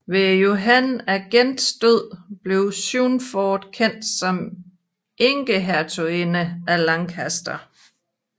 Ved Johan af Gents død blev Swynford kendt som enkehertuginde af Lancaster